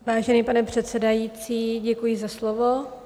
Vážený pane předsedající, děkuji za slovo.